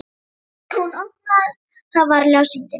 Hún opnaði það varlega og sýndi mér.